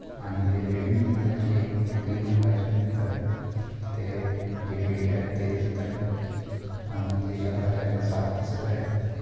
आणि तिथे बिल्डिंग दिसत आहे जे एक क्रीम रंगाचे आहे तर तिथे जे खिडक्या आहेत ते दिसत आहेत आणि जे आकाश आहे ते साफ दिसत आहे.